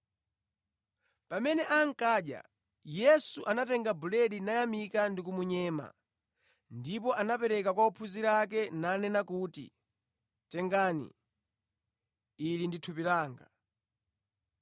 Pamene ankadya, Yesu anatenga buledi, nayamika ndipo anamunyema nagawira ophunzira ake nanena kuti, “Tengani, ili ndi thupi langa.”